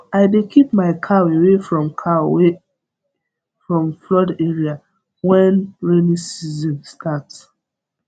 i dey keep my cow away from cow away from flood area when rainy season start